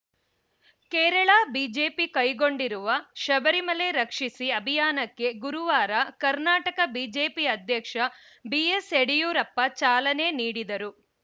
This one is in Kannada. ಕೇರಳ ಬಿಜೆಪಿ ಕೈಗೊಂಡಿರುವ ಶಬರಿಮಲೆ ರಕ್ಷಿಸಿ ಅಭಿಯಾನಕ್ಕೆ ಗುರುವಾರ ಕರ್ನಾಟಕ ಬಿಜೆಪಿ ಅಧ್ಯಕ್ಷ ಬಿಎಸ್‌ ಯಡಿಯೂರಪ್ಪ ಚಾಲನೆ ನೀಡಿದರು